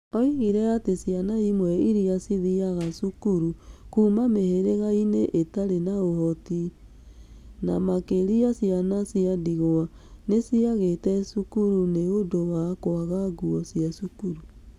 Oigire atĩ ciana imwe iria ciathiaga cukuru kuuma mĩhĩrĩga-inĩ ĩtarĩ na ũhoti, na makĩria ciana cia ndigwa, nĩ ciatigĩte cukuru nĩ ũndũ wa kwaga nguo cia cukuru.